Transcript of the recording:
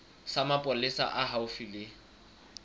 sa mapolesa se haufi le